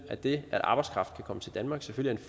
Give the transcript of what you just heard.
at det at arbejdskraft kan komme til danmark selvfølgelig